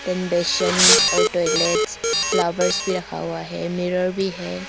और toilets flowers भी रखा हुआ है मिरर भी है।